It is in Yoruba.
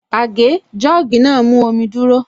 Àgé/Jọ́ọ̀gì náà mú omi dúrọ́